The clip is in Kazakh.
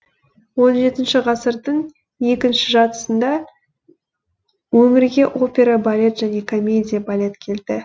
он жетінші ғасырдың екінші жартысында өмірге опера балет және комедия балет келді